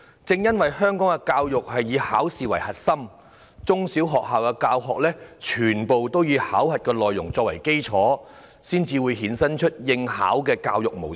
正因為香港的教育以考試為核心，中、小學校的教學都以考核內容作為基礎，才會衍生以應考為目標的教育模式。